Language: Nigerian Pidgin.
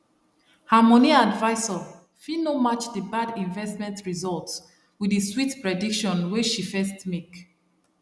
her moni advisor no fit match the bad investment result with the sweet prediction wey she first make